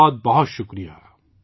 بہت بہت شکریہ